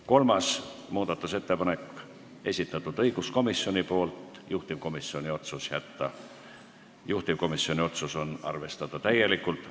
Kolmanda muudatusettepaneku on esitanud õiguskomisjon, juhtivkomisjoni otsus on arvestada täielikult.